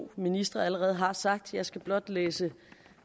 to ministre allerede har sagt jeg skal blot læse